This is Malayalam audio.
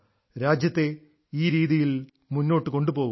രാജ്യത്തെ ഈ രീതിയിൽ മുന്നോട്ട് കൊണ്ടുപോകുക